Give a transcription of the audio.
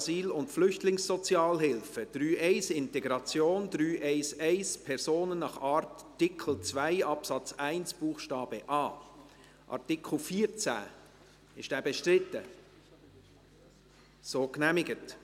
Wer nun den obsiegenden Antrag ins Gesetz schreiben will, stimmt Ja, wer dies ablehnt, stimmt Nein.